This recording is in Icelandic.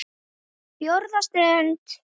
FJÓRÐA STUND